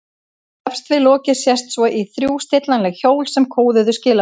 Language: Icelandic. Efst við lokið sést svo í þrjú stillanleg hjól sem kóðuðu skilaboðin.